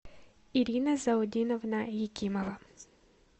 ирина заудиновна якимова